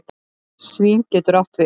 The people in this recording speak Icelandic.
Svín getur átt við